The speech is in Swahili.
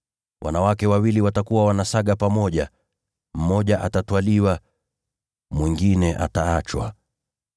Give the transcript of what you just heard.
Wanawake wawili watakuwa wanasaga pamoja, naye mmoja atatwaliwa na mwingine ataachwa.